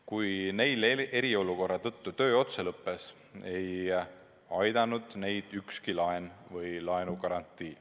Kui neil eriolukorra tõttu töö otsa lõppes, ei aidanud neid ükski laen ega laenugarantii.